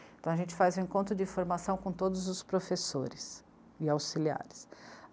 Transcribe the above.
Então a gente faz um encontro de formação com todos os professores e auxiliares.